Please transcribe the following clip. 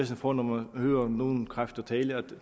få når man hører nogle kræfter tale om